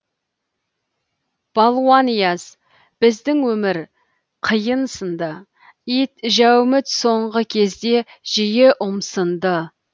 балуанияз біздің өмір қиын сын ды ит жәуміт соңғы кезде жиі ұмсынды